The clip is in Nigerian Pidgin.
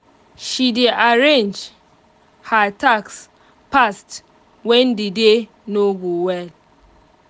she dey arrange her task fast when the day no go well